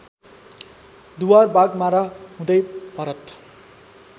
दुवारबागमारा हुँदै भरत